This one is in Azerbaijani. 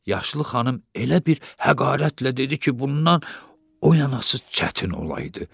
Yaşlı xanım elə bir həqarətlə dedi ki, bundan oyanası çətin olaydı.